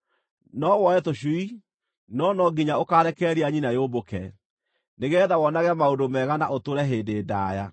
No woe tũcui, no no nginya ũkaarekereria nyina yũmbũke, nĩgeetha wonage maũndũ mega na ũtũũre hĩndĩ ndaaya.